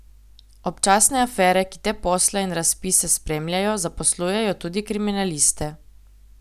Občasne afere, ki te posle in razpise spremljajo, zaposlujejo tudi kriminaliste.